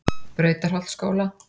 Brautarholtsskóla